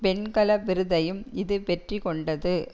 வெண்கல விருதையும் இது வெற்றி கொண்டது